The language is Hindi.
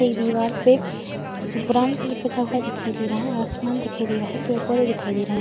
एक दिवार पे ब्राउन कलर पुता हुआ दिखाई दे रहा है। आसमान दिखाई दे रहा है। पेड़-पौधे दिखाई दे रहे है।